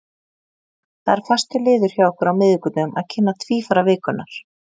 Það er fastur liður hjá okkur á miðvikudögum að kynna tvífara vikunnar.